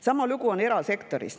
Sama lugu on erasektoris.